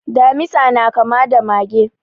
Damisa na kama da mage.